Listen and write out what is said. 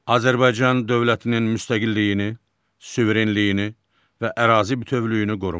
Azərbaycan dövlətinin müstəqilliyini, suverenliyini və ərazi bütövlüyünü qorumaq.